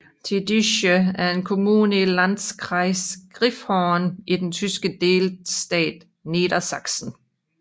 Tiddische er en kommune i Landkreis Gifhorn i den tyske delstat Niedersachsen